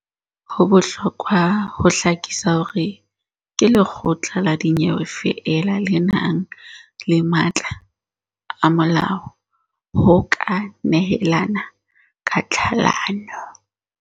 Ho bohlokwa ho hlakisa hore ke lekgotla la dinyewe feela le nang le matla a molao ho ka nehelana ka tlhalano.